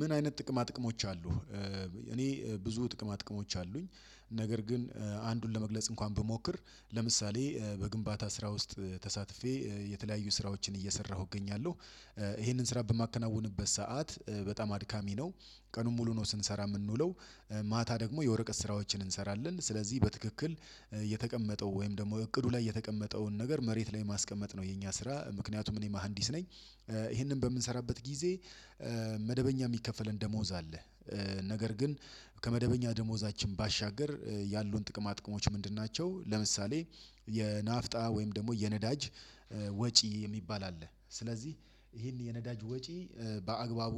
ምን አይነት ጥቅማ ጥቅሞች አሉ? እኔ ብዙ ጥቅማ ጥቅሞች አሉኝ። ነገር ግን አንዱን ለመግለጽ እንኳን ብሞክር ለምሳሌ በግንባታ ስራ ውስጥ ተሳትፌ የተለያዩ ስራዎችን እየሰራሁ እገኛለሁ። ይሄንን ስራ በማከናውንበት ሰዓት በጣም አድካሚ ነው ቀኑን ሙሉ ነው ስንሰራ የምንውለው። ማታ ደግሞ የወረቀት ስራዎችን እንሰራለን ስለዚህ በትክክል የተቀመጠው ወይም ደግሞ እቅዱ ላይ የተቀመጠውን ነገር መሬት ላይ ማስቀመጥ ነው የኛ ስራ ምክንያቱም እኔ መሃንዲስ ነኝ። ይሄንን በምንሰራበት ጊዜ መደበኛ የሚከፈለን ደሞዝ አለ። ነገር ግን ከመደበኛ ደሞዛችን ባሻገር ያሉን ጥቅማ ጥቅሞች ምንድን ናቸው? ለምሳሌ የናፍጣ ወይም ደግሞ የነዳጅ ወጪ የሚባል አለ ስለዚህ ይሄን የነዳጅ ወጪ በአግባቡ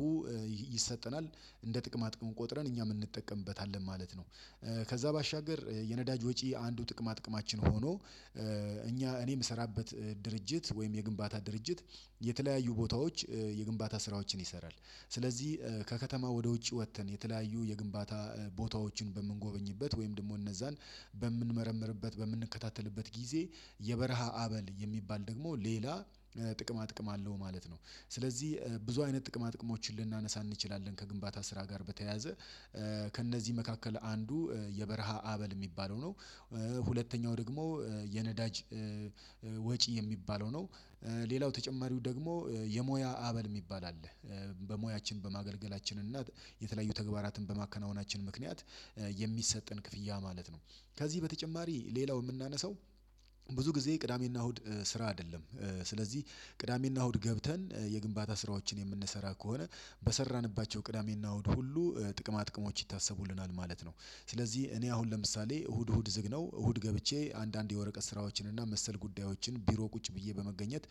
ይሰጠናል እንደ ጥቅማ ጥቅም ቆጥረን እኛም እንጠቀምበታለን ማለት ነው። ከዛ ባሻገር የነዳጅ ወጪ አንዱ ጥቅማ ጥቅማችን ሆኖ እኛ እኔ የምሰራበት ድርጅት ወይም የግንባታ ድርጅት የተለያዩ ቦታዎች የግንባታ ስራዎችን ይሰራል። ስለዚህ ከከተማ ወደ ውጭ ወጥተን የተለያዩ የግንባታ ቦታዎችን በምንጎበኝበት ወይም ደግሞ እነዛን በምንመረምርበት በምንከታተልበት ጊዜ የበረሃ አበል የሚባል ደግሞ ሌላ ጥቅማ ጥቅም አለው ማለት ነው። ስለዚህ ብዙ አይነት ጥቅማ ጥቅሞችን ልናነሳ እንችላለን ከግንባታ ስራ ጋር በተያያዘ ከእነዚህ መካከል አንዱ የበረሃ አበል የሚባለው ነው። ሁለተኛው ደግሞ የነዳጅ ወጪ የሚባለው ነው። ሌላው ተጨማሪው ደግሞ የሙያ አበል የሚባል አለ። በሙያችን በማገልገላችን እና የተለያዩ ተግባራትን በማከናወናችን ምክንያት የሚሰጠን ክፍያ ማለት ነው። ከዚህ በተጨማሪ ሌላው የምናነሳው ብዙ ጊዜ ቅዳሜና እሁድ ስራ አይደለም። ስለዚህ ቅዳሜና እሁድ ገብተን የግንባታ ስራዎችን የምንሰራ ከሆነ በሰራንባቸው ቅዳሜና እሁድ ሁሉ ጥቅማ ጥቅሞች ይታሰቡልናል ማለት ነው። ስለዚህ እኔ አሁን ለምሳሌ እሁድ እሁድ ዝግነው እሁድ ገብቼ አንዳንድ የወረቀት ስራዎችን እና መሰል ጉዳዮችን ቢሮ ቁጭ ብዬ በመገኘት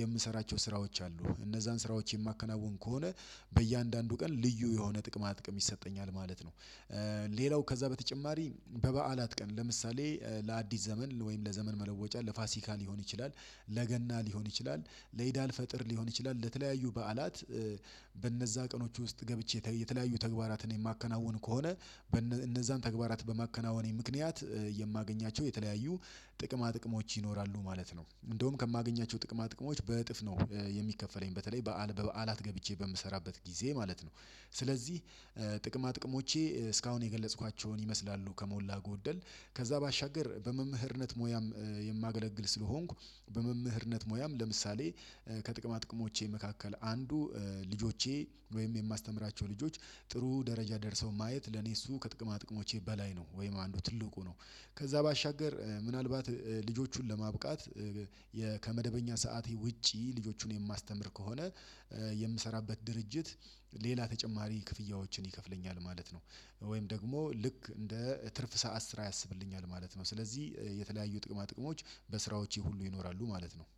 የምሰራቸው ስራዎች አሉ እነዛን ስራዎች የማከናውን ከሆነ በእያንዳንዱ ቀን ልዩ የሆነ ጥቅማ ጥቅም ይሰጠኛል ማለት ነው። ሌላው ከዛ በተጨማሪ በበዓላት ቀን ለምሳሌ ለአዲስ ዘመን ወይም ለዘመን መለወጫ ለፋሲካ ሊሆን ይችላል። ለገና ሊሆን ይችላል ለኢዳል ፈጥር ሊሆን ይችላል ለተለያዩ በዓላት። በእነዛ ቀኖች ውስጥ ገብቼ የተለያዩ ተግባራትን የማከናውን ከሆነ እነዛን ተግባራት በማከናወኔ ምክንያት የማገኛቸው የተለያዩ ጥቅማ ጥቅሞች ይኖራሉ ማለት ነው። እንደውም ከማገኛቸው ጥቅማ ጥቅሞች በእጥፍ ነው የሚከፈለኝ በተለይ በዓል በበዓላት ገብቼ በምሰራበት ጊዜ ማለት ነው። ስለዚህ ጥቅማ ጥቅሞቼ እስካሁን የገለጽኳቸውን ይመስላሉ ከሞላ ጎደል ከዛ ባሻገር በመምህርነት ሙያም የማገለግል ስለሆንኩ በመምህርነት ሙያም ለምሳሌ ከጥቅማ ጥቅሞቼ መካከል አንዱ ልጆቼ ወይም የማስተምራቸው ልጆች ጥሩ ደረጃ ደርሰው ማየት ለኔ እሱ ከጥቅማ ጥቅሞቼ በላይ ነው ወይም አንዱ ትልቁ ነው። ከዛ ባሻገር ምናልባት ልጆቹን ለማብቃት ከመደበኛ ሰዓቴ ውጪ ልጆቹን የማስተምር ከሆነ የምሰራበት ድርጅት ሌላ ተጨማሪ ክፍያዎችን ይከፍለኛል ማለት ነው። ወይም ደግሞ ልክ እንደ ትርፍ ሰዓት ስራ ያሰብልኛል ማለት ነው። ስለዚህ የተለያዩ ጥቅማ ጥቅሞች በስራዎቼ ሁሉ ይኖራሉ ማለት ነው።